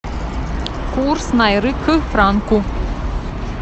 курс найры к франку